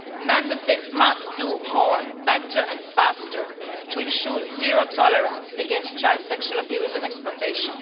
Member States must do more, better and faster, to ensure zero tolerance against child sexual abuse and exploitation.